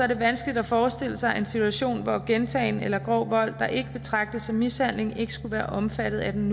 det vanskeligt at forestille sig en situation hvor gentagen eller grov vold der ikke betragtes som mishandling ikke skulle være omfattet af den